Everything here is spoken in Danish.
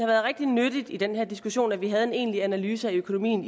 været rigtig nyttigt i den her diskussion at vi havde fået en egentlig analyse af økonomien